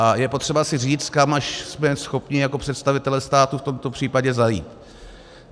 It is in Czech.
A je potřeba si říct, kam až jsme schopni jako představitelé státu v tomto případě zajít.